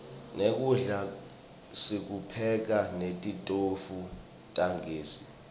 nekudla sikupheka netitofu tagezi